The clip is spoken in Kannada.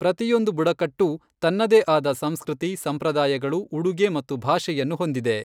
ಪ್ರತಿಯೊಂದು ಬುಡಕಟ್ಟೂ ತನ್ನದೇ ಆದ ಸಂಸ್ಕೃತಿ, ಸಂಪ್ರದಾಯಗಳು, ಉಡುಗೆ ಮತ್ತು ಭಾಷೆಯನ್ನು ಹೊಂದಿದೆ.